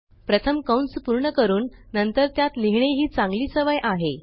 प्रथम कंस पूर्ण करून नंतर त्यात लिहिणे ही चांगली सवय आहे